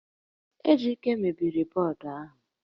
Ejike mebiri bọọdụ ahụ